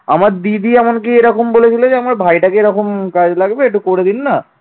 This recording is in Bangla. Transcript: আমার দিদি এমন কি এরকম বলেছিল যে আমার ভাইটাকে এরকম কাজে লাগবে একটু করে দিন না